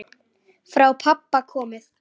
Frá pabba komið.